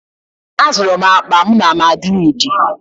Azụrụ m akpa m na Madrịdị